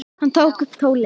Hann tók upp tólið.